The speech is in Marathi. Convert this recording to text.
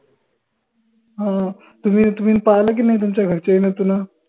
हां तुम्ही तुम्ही पाहल की नाई तुमच्या घरच्याइन तुन